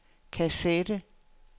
kassette